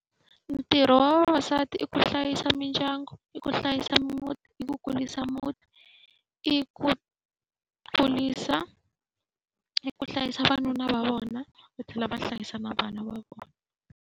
Ntirho wa vavasati i ku hlayisa mindyangu, i ku hlayisa muti, i ku kurisa muti, i ku , i ku hlayisa vavanuna va vona, va tlhela va hlayisa na vana va vona.